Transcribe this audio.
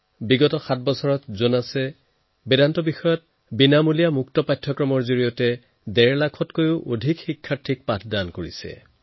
বিগত সাত বছৰত জোনাছে বেদান্তৰ ওপৰত সকলোৰে বাবে বিনামূলীয়া পাঠক্ৰমৰ জৰিয়তে ডেৰ লক্ষাধিক ছাত্ৰছাত্ৰীক পঢ়ুৱাইছে